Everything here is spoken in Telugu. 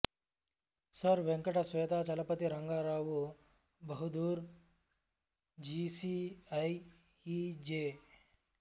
sir Venkata Swetachalapathi Rangarao Bahadur G C I E జ